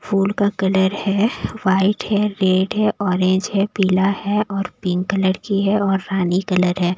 फूल का कलर है वाइट है रेड है ऑरेंज है पीला है और पिंक कलर की है और रानी कलर है।